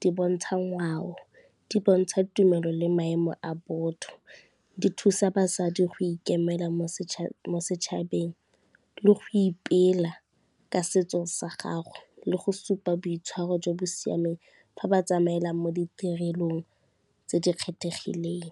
di bontsha ngwao, di bontsha tumelo le maemo a botho, di thusa basadi go ikemela mo setšhabeng le go ipela ka setso sa gagwe le go supa boitshwaro jo bo siameng fa ba tsamaela mo ditirelong tse di kgethegileng.